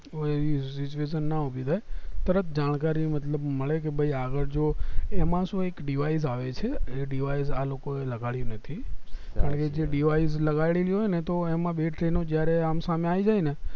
કોઈ એવી situation ના ઊભી થાય તરત જાણકારી મતલબ મળે કે ભય આ જુવો એમાં શું એક device આવે છે આ લોકો એલ લગાડી નથી કારણ કે આ device લગાડ્યું હોય ને તો એમાં બે train ઉ જયારે સમ સામે આવી જાય ને